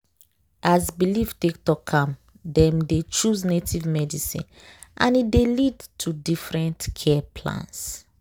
as belief take talk am dem dey choose native leaf medicine and e dey lead to different care plans.